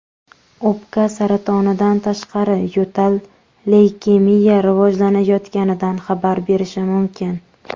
O‘pka saratonidan tashqari, yo‘tal leykemiya rivojlanayotganidan xabar berishi mumkin.